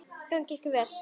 Gangi ykkur vel.